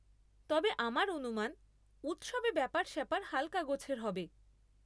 তবে আমার অনুমান উৎসবে ব্যাপার স্যাপার হালকা গোছের হবে।